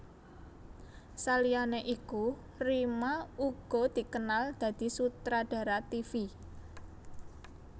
Saliyané iku Rima uga dikenal dadi sutradara tivi